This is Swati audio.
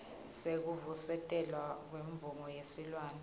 sekuvusetelwa kwemvumo yesilwane